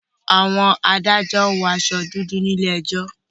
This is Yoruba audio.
Àwọn adájọ́ wọ aṣọ dúdú ní ilé ẹjọ́.